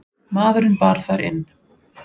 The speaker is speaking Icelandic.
Maðurinn bar þær inn.